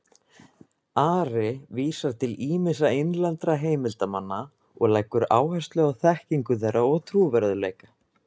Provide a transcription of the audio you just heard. Ari vísar til ýmissa innlendra heimildarmanna og leggur áherslu á þekkingu þeirra og trúverðugleika.